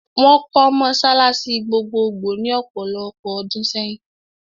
Wọ́n kọ́ mọ́sálásí gbogbogbò ní ọ̀pọ̀lopọ̀ ọdún sẹ́yìn.